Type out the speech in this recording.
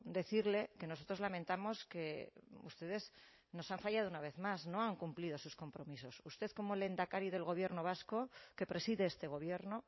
decirle que nosotros lamentamos que ustedes nos han fallado una vez más no han cumplido sus compromisos usted como lehendakari del gobierno vasco que preside este gobierno